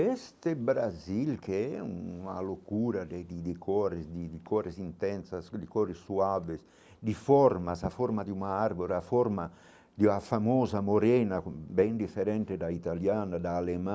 Este Brasil, que é uma loucura de de de cores de de cores intensas, de cores suaves, de formas, a forma de uma árvore, a forma de uma famosa morena, bem diferente da italiana, da alemã.